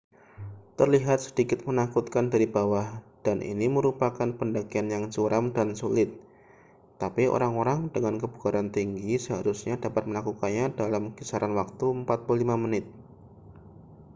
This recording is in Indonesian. terlihat sedikit menakutkan dari bawah dan ini merupakan pendakian yang curam dan sulit tapi orang-orang dengan kebugaran tinggi seharusnya dapat melakukannya dalam kisaran waktu 45 menit